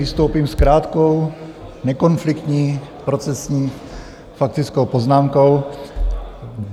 Vystoupím s krátkou, nekonfliktní, procesní faktickou poznámkou.